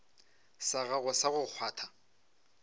sa gago sa go kgwatha